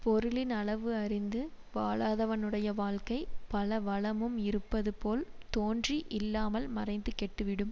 பொருளின் அளவு அறிந்து வாழாதவனுடைய வாழ்க்கை பல வளமும் இருப்பது போல் தோன்றி இல்லாமல் மறைந்து கெட்டு விடும்